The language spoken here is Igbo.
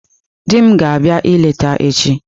Di m ga-abịa eleta echi.